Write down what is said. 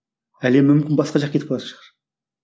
әлем мүмкін басқа жаққа кетіп қалатын шығар